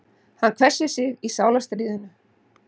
Hann hvessir sig í sálarstríðinu.